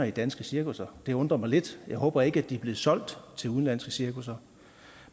i danske cirkusser det undrer mig lidt jeg håber ikke de er blevet solgt til udenlandske cirkusser